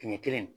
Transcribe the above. Tile kelen